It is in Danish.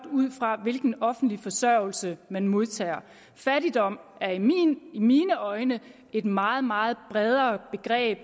ud fra hvilken offentlig forsørgelse man modtager fattigdom er i mine øjne et meget meget bredere begreb